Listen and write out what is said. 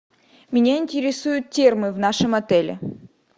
меня интересуют термы в нашем отеле